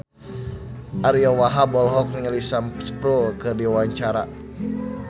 Ariyo Wahab olohok ningali Sam Spruell keur diwawancara